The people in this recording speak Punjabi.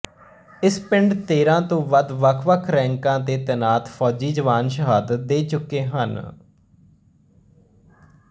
ਇਸ ਪਿੰਡ ਤੇਰਾਂ ਤੋਂ ਵੱਧ ਵੱਖਵੱਖ ਰੈਂਕਾਂ ਤੇ ਤੈਨਾਤ ਫੌਜੀ ਜਵਾਨ ਸ਼ਹਾਦਤ ਦੇ ਚੁੱਕੇ ਹਨ